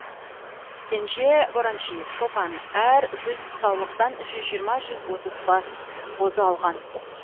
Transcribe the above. кенже бораншиев шопан әр жүз саулықтан жүз жиырма жүз отыз бас қозы алған